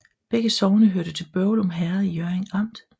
Begge sogne hørte til Børglum Herred i Hjørring Amt